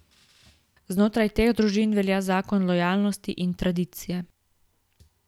Znotraj teh družin velja zakon lojalnosti in tradicije.